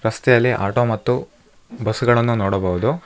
ರಸ್ತೆಯಲ್ಲಿ ಆಟೋ ಮತ್ತು ಬಸ್ ಗಳನ್ನು ನೋಡಬಹುದು.